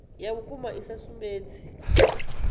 ya vhukuma i sa sumbedzi